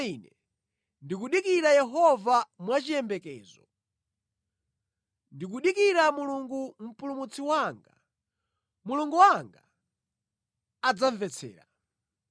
Koma ine ndikudikira Yehova mwachiyembekezo, ndikudikira Mulungu Mpulumutsi wanga; Mulungu wanga adzamvetsera.